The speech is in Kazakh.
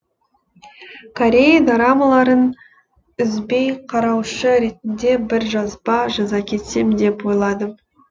корей дорамаларын үзбей қараушы ретінде бір жазба жаза кетсем деп ойладым